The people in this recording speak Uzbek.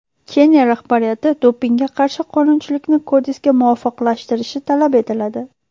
Keniya rahbariyati dopingga qarshi qonunchilikni kodeksga muvofiqlashtirishi talab etiladi.